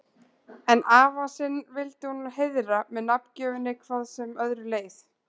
En afa sinn vildi hún heiðra með nafngjöfinni hvað sem öðru leið.